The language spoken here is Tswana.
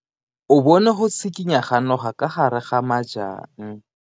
O bone go tshikinya ga noga ka fa gare ga majang.